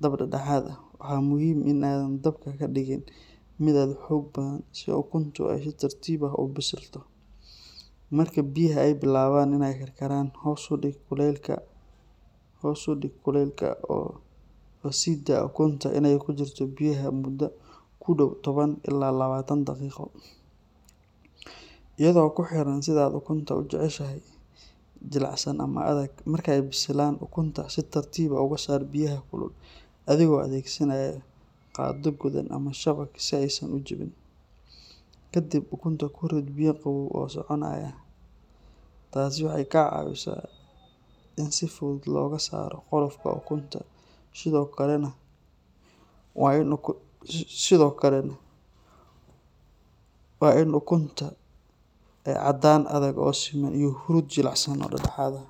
dab dhexdhexaad ah. Waa muhiim in aadan dabka ka dhigin mid aad u xoog badan si ukuntu ay si tartiib ah u bisilto. Marka biyaha ay bilaabaan inay karkaraan, hoos u dhig kuleylka oo sii daa ukunta inay ku jirto biyaha muddo ku dhow toban ilaa labaatan daqiiqo, iyadoo ku xiran sida aad ukunta u jeceshahay—jilicsan ama adag. Marka ay bisilaan, ukunta si tartiib ah uga saar biyaha kulul adigoo adeegsanaya qaaddo godan ama shabag si aysan u jabin. Kadib ukunta ku rid biyo qabow oo soconaya, taasi waxay ka caawisaa in si fudud looga saaro qolofka ukunta sidoo kalena waa in ukuntu aysan sii bislaan. Ukun la kariyey oo qumman waxay leedahay caddaan adag oo siman iyo huruud jilicsan oo dhexda ah.